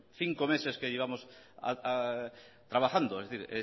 cinco meses que llevamos trabajando es decir